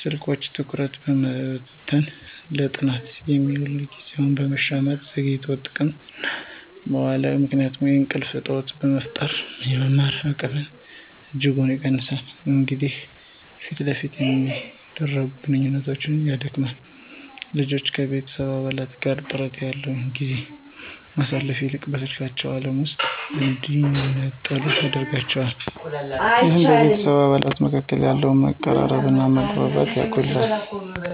ስልኮች ትኩረትን በመበተን፣ ለጥናት የሚውልን ጊዜ በመሻማትና ዘግይቶ ጥቅም ላይ በመዋሉ ምክንያት የእንቅልፍ እጦት በመፍጠር የመማር አቅምን በእጅጉ ይቀንሳሉ። እንዲሁም ፊት ለፊት የሚደረግን ግንኙነት ያዳክማል። ልጆች ከቤተሰብ አባላት ጋር ጥራት ያለው ጊዜን ከማሳለፍ ይልቅ በስልካቸው ዓለም ውስጥ እንዲነጠሉ ያደርጋቸዋል። ይህም በቤተሰብ አባላት መካከል ያለውን መቀራረብና መግባባት ይጎዳል።